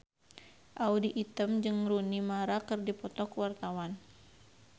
Audy Item jeung Rooney Mara keur dipoto ku wartawan